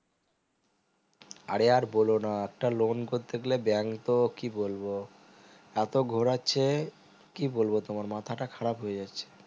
আরে আর বোলো না একটা loan করতে গেলে bank তো কি বলবো এতো ঘোরাচ্ছে কি বলবো তোমার মাথাটা খারাপ হয়ে যাচ্ছে